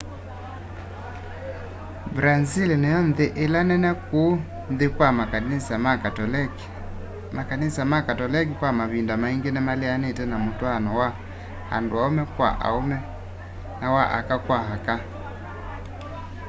brazĩl nĩyo nthĩ ĩla nene kũũ nthĩ kwa makanĩsa ma katolekĩ makanĩsa ma katolekĩ kwa mavĩnda maĩngĩ nĩmaleanĩte na mũtwaano wa andũ aũme kwa aũme na wa aka kwa aka